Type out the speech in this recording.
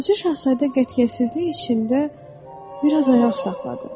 Balaca Şahzadə qətiyyətsizlik içində bir az ayaq saxladı.